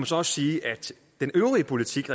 så også sige at den øvrige politik